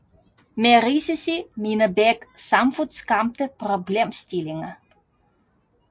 Med risici mener Beck samfundsskabte problemstillinger